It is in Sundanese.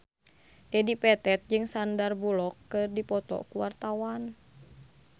Dedi Petet jeung Sandar Bullock keur dipoto ku wartawan